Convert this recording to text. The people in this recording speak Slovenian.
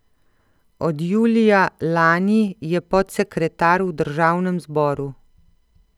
Od julija lani je podsekretar v državnem zboru.